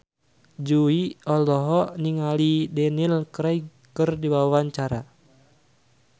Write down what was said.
Jui olohok ningali Daniel Craig keur diwawancara